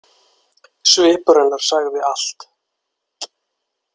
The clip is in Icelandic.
Svipur hennar sagði allt.